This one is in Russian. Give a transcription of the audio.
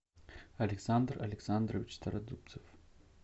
александр александрович стародубцев